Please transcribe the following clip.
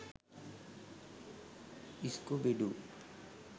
scooby doo